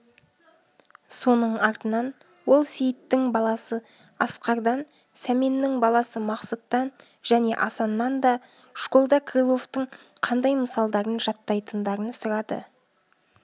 соның артынан ол сейіттің баласы асқардан сәменнің баласы мақсұттан және асаннан да школда крыловтың қандай мысалдарын жаттайтындарын сұрады